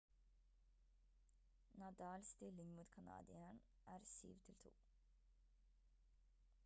nadal stilling mot kanadieren er 7-2